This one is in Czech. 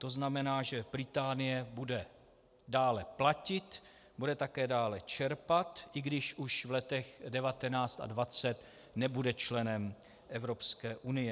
To znamená, že Británie bude dále platit, bude také dále čerpat, i když už v letech 2019 a 2020 nebude členem Evropské unie.